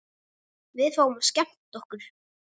Við fáum að skemmta okkur.